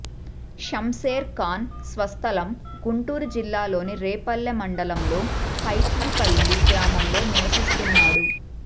షంసేర్ ఖాన్ స్వస్దలం గుంటూరు జిల్లాలోని రేపల్లే మండలంలో కైతీపల్లి గ్రామంలో నివసిస్తున్నాడు